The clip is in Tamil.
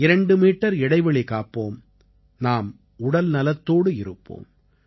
இரண்டு மீட்டர் இடைவெளி காப்போம் நாம் உடல்நலத்தோடு இருப்போம்